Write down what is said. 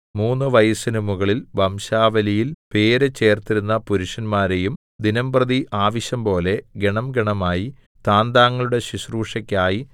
മൂന്നു വയസ്സിനു മുകളിൽ വംശാവലിയിൽ പേര് ചേർത്തിരുന്ന പുരുഷന്മാരെയും ദിനമ്പ്രതി ആവശ്യംപോലെ ഗണംഗണമായി താന്താങ്ങളുടെ ശുശ്രൂഷക്കായി